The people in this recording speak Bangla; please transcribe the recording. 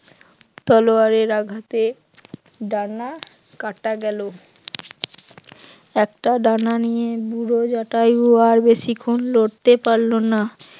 তলোয়ারের আঘাতে ডানা কাটা গেল, একটা ডানা নিয়ে বুড়ো জটায়ু আর বেশিক্ষণ লড়তে পারল না।